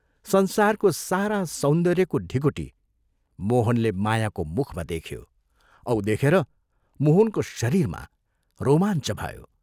संसारको सारा सौन्दर्यको ढिकुटी मोहनले मायाको मुखमा देख्यो औ देखेर मोहनको शरीरमा रोमाञ्च भयो।